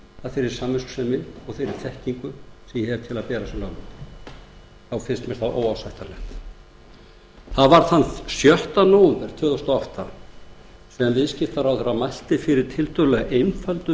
af samviskusemi og þeirri þekkingu sem ég hef til að bera sem lögmaður mér finnst það óásættanlegt þann sjötta nóvember tvö þúsund og átta mælti viðskiptaráðherra fyrir tiltölulega einföldu